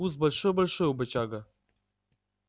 куст большой-большой у бочага